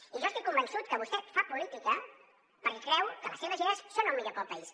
i jo estic convençut que vostè fa política perquè creu que les seves idees són el millor per al país